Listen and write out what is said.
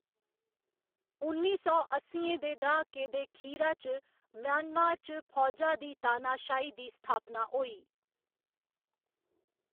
उन्नी सौ अस्सियें दे द्हाके दे खीरा च म्यांमार च फौजा दी तानाशाही दी स्थापना होई।